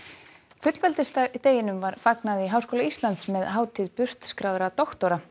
fullveldisdeginum var fagnað í Háskóla Íslands með hátíð brautskráðra doktora